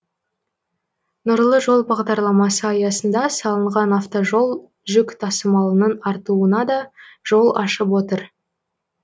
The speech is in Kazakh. нұрлы жол бағдарламасы аясында салынған автожол жүк тасымалының артуына да жол ашып отыр